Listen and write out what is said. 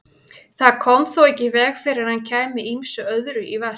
Það kom þó ekki í veg fyrir að hann kæmi ýmsu öðru í verk.